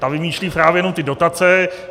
Ta vymýšlí právě jenom ty dotace.